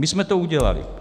My jsme to udělali.